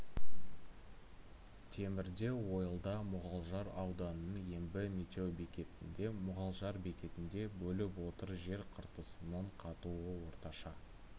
темірде ойылда мұғалжар ауданының ембі метеобекетінде мұғалжар бекетінде болып отыр жер қыртысының қатуы орташа